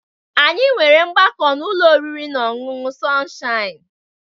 Anyị nwere ọgbakọ n'ụlọ oriri na ọṅụṅụ Sọnshaịn